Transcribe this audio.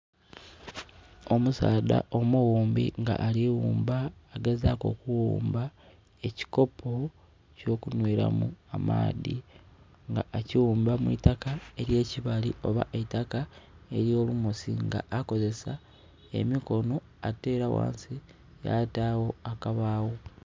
Omusaadha omuwumbi nga aliwumba, agezaku okuwumba ekikopo eky'okunhweramu amaadhi. Nga akiwumba mu itaka ery'ekibaali oba eitaka ery'olumosi era nga akozesa emikono ate era wansi yataawo akabaawo